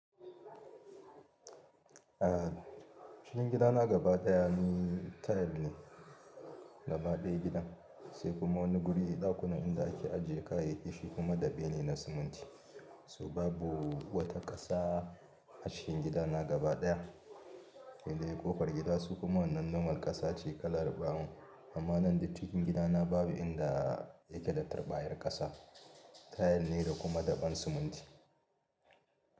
Eh, cikin gidana gaba ɗaya ni tile ne, gaba ɗaya gidan, sai kuma wani guri ɗakunan inda ake ajiye kayyaki, shi kuma daɓe ne na siminti. So babu wata ƙasa, a cikin gidana gaba ɗaya, he dai ƙofar gida su kuma wannan nomal ƙasa ce kalar brown. Amma nan duk cikin gidana babu inda yake da tarɓayar ƙasa, tile ne da kuma daɓen siminti.